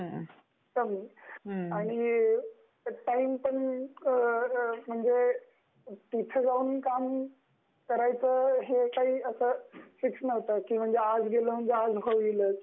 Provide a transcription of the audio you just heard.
आणि टाईम पण म्हणजे, आणि तिथे जाऊन काम करायच हे काही अस फिक्स नव्हत की तिथे आज गेल म्हणजे आज काम होईलच.